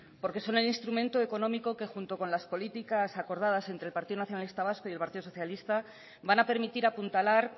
porque son el instrumento económico que junto con las políticas acordadas entre partido nacionalista vasco y el partido socialista van a permitir apuntalar